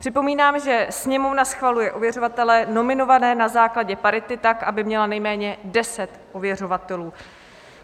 Připomínám, že Sněmovna schvaluje ověřovatele nominované na základě parity tak, aby měla nejméně 10 ověřovatelů.